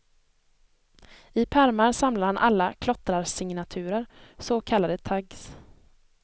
I pärmar samlar han alla klottrarsignaturer, så kallade tags.